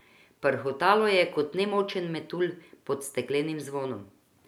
Prhutalo je kot nemočen metulj pod steklenim zvonom.